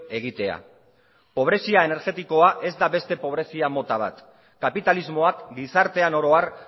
egitea pobrezia energetikoa ez da beste pobrezia mota bat kapitalismoak gizartean oro har